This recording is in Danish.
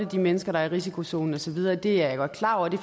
de mennesker der er i risikozonen og så videre det er jeg godt klar over og det